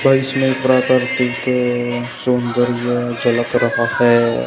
और इसमें तरह तरह की एक सौंदर्य झलक रहा है।